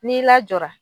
N'i lajɔra